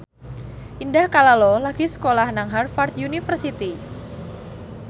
Indah Kalalo lagi sekolah nang Harvard university